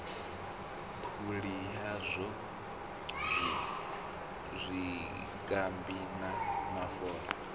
phuli yazwo zwikambi na mafola